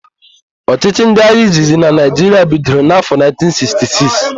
Ọchịchị ndị agha izizi na Naịjiria bidoro n'afọ 1966.